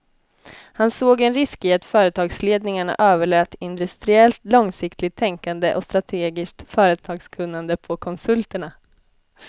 Han såg en risk i att företagsledningarna överlät industriellt långsiktigt tänkande och strategiskt företagskunnande på konsulterna.